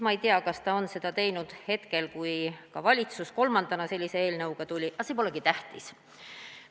Ma ei tea, kas ta tegi seda ka hetkel, kui valitsus kolmandana sellise eelnõuga tuli, aga see polegi tähtis.